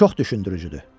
Çox düşündürücüdür.